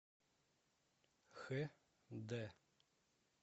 хэ дэ